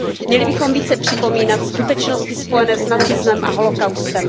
Měli bychom více připomínat skutečnosti spojené s nacismem a holocaustem.